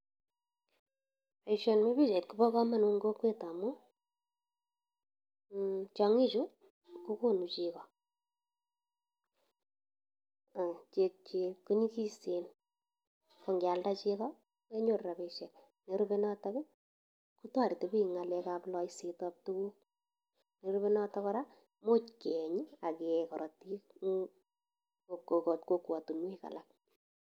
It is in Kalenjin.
Boisioni bo oichait kobo kamanut eng kokwet amu, tiong'i chu kogonu chego ak chekchi ko nyigisen. Ko ngealda chego, kenyoru rabisiek. Nerube notok, kotoreti biik eng ng'alekab loisetab tuguk. Nerube notok kora, imuch keeny ak kee korotik eng kokwatunwek alak.